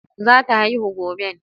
Zata haihu goben?